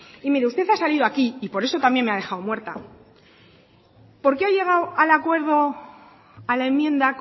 y mire usted ha salido aquí y por eso también me ha dejado muerta porque ha llegado al acuerdo a la enmienda